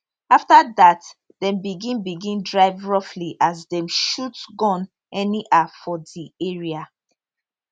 afta dat dem begin begin drive roughly as dem shoot gun anyhow for di area